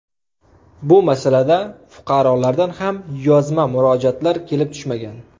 Bu masalada fuqarolardan ham yozma murojaatlar kelib tushmagan.